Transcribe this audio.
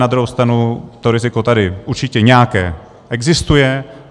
Na druhou stranu to riziko tady určitě nějaké existuje.